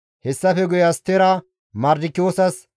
Hessafe guye Astera Mardikiyoosas,